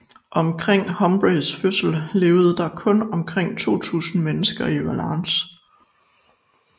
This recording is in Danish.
Omkring Humphreys fødsel levede der kun omkring 200 mennesker i Wallace